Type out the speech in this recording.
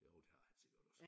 Jo det har han sikkert også